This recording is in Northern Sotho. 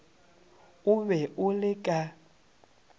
o be o le ka